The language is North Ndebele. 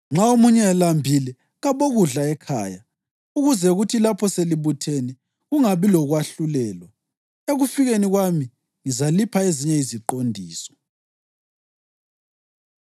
Nxa omunye elambile, kabokudla ekhaya, ukuze kuthi lapho selibuthene kungabi lokwahlulelwa. Ekufikeni kwami ngizalipha ezinye iziqondiso.